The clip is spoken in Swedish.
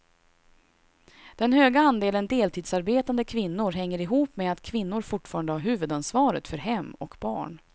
Den höga andelen deltidsarbetande kvinnor hänger ihop med att kvinnor fortfarande har huvudansvaret för hem och barn.